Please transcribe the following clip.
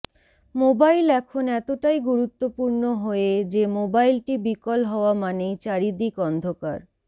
mobile এখন এতটাই গুরুত্বপূর্ণ হয়ে যে মোবাইলটি বিকল হওয়া মানেই চারিদিক অন্ধকার